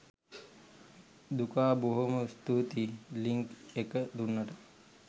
දුකා බොහොම ස්තුතියි ලින්ක් එක දුන්නට